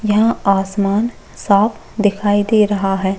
यहाँ आसमान साफ़ दिखाई दे रहा है।